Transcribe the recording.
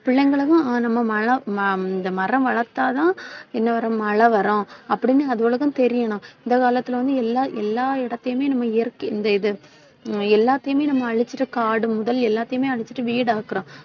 பிள்ளைகளுக்கும் ஆஹ் நம்ம மழ~ ம~ இந்த மரம் வளர்த்தாதான் என்ன வரும் மழை வரும் அப்படின்னு அதுகளுக்கும் தெரியணும். இந்த காலத்தில வந்து எல்லா எல்லா இடத்தையுமே நம்ம இயற்கை இந்த இது ஹம் எல்லாத்தையுமே நம்ம அழிச்சிட்டு காடு முதல் எல்லாத்தையுமே அழிச்சிட்டு வீடாக்குறோம்